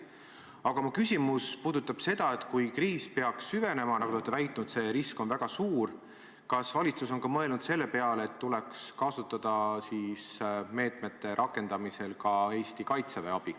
Aga mu küsimus puudutab seda, et kui kriis peaks süvenema – nagu te olete väitnud, see risk on väga suur –, siis kas valitsus on mõelnud ka selle peale, et tuleks kasutada meetmete rakendamisel ka Eesti kaitseväe abi.